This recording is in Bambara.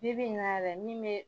Bi bi in na yɛrɛ min bɛ